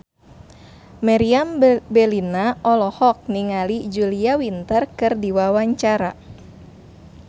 Meriam Bellina olohok ningali Julia Winter keur diwawancara